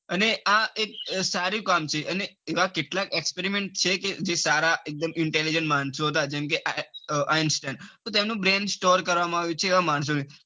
અને આ એક સારું કામ છે અને એવા કેટલાક experiment જે સારા એક દમ intelligent માણસો હતા જેમ કે આઈન સ્ટાઇન તો તેમનું brain store કરવામાં આવ્યું છે એવા માણસો નું